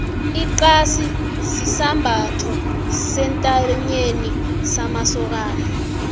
ixasi sisambatho sentanyeni samasokani